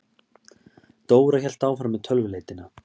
Dóra hélt áfram með tölvuleitina.